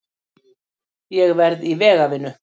Ég verð í vegavinnu.